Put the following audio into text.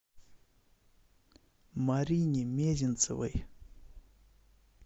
марине мезенцевой